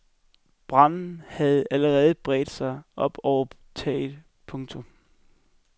Branden havde allerede bredt sig op over taget. punktum